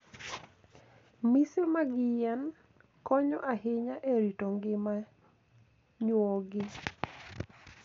Mise mag yien konyo ahinya e rito ngima nyuogi.